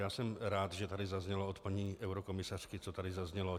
Já jsem rád, že tady zaznělo od paní eurokomisařky, co tady zaznělo.